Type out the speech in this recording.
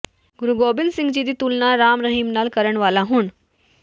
ਗੁਰੂ ਗੋਬਿੰਦ ਸਿੰਘ ਜੀ ਦੀ ਤੁਲਨਾ ਰਾਮ ਰਹੀਮ ਨਾਲ ਕਰਨ ਵਾਲਾ ਹੁਣ